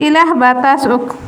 Ilaah baa taas og